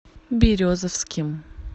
березовским